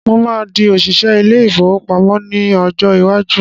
Mo máa di òṣìṣẹ́ ilé-ìfowópamọ ní ọjọ́ iwájú.